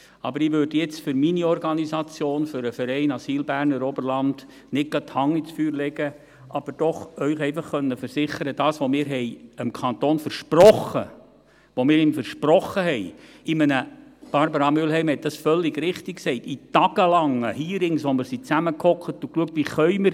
Aber ich würde jetzt für meine Organisation, für den Verein Asyl Berner Oberland nicht gerade die Hand ins Feuer legen, aber Ihnen doch versichern, was wir dem Kanton versprochen haben – Barbara Mühlheim hat das völlig richtig gesagt – in tagelangen Hearings, in denen wir zusammensassen und schauten: